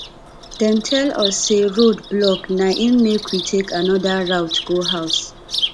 dem tell us sey road block na im make we take anoda route go house